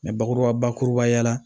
bakuruba bakuruba ya la